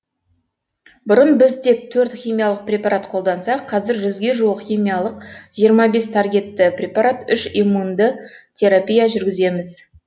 бұрын біз тек төрт химиялық препарат қолдансақ қазір жүзге жуық химиялық жиырма бес таргетті препарат үш иммунды терапия жүргіземіз